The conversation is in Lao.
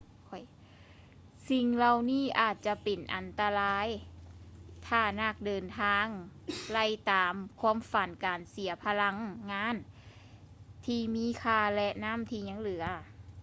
ສິ່ງເຫຼົ່ານີ້ອາດຈະເປັນອັນຕະລາຍຖ້ານັກເດີນທາງໄລ່ຕາມຄວາມຝັນ ການເສຍພະລັງງານທີ່ມີຄ່າ ແລະ ນຳ້ທີຍັງເຫຼືອ